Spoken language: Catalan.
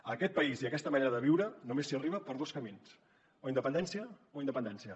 a aquest país i a aquesta manera de viure només s’hi arriba per dos camins o independència o independència